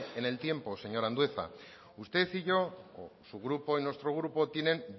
en el tiempo señor andueza usted y yo o su grupo y nuestro grupo tienen